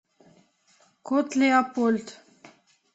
кот леопольд